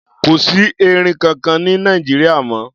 Kò sí erin kankan ní Nàìjíríà mọ́.